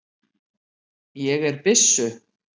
Ég er byssu